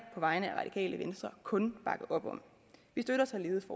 på vegne af radikale venstre kun bakke op om vi støtter således